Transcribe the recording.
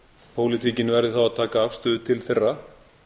pólitíkin verði þá að taka afstöðu ein þeirra